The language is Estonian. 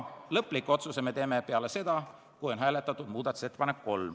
Lõpliku otsuse teeme me peale seda, kui on hääletatud muudatusettepanekut nr 3.